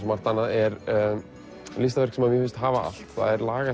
er listaverk sem mér finnst hafa allt það er lag